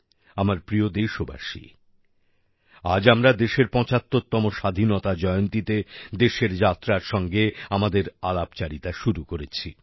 আমার প্রিয় দেশবাসী আজ আমরা দেশের ৭৫ তম স্বাধীনতা জয়ন্তীতে দেশের যাত্রার সঙ্গে আমাদের আলাপচারিতা শুরু করেছি